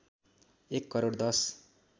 एक करोड १०